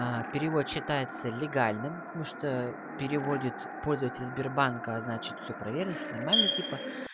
аа перевод считается легальному потому что переводит пользователь сбербанка значит все проверил все нормально типа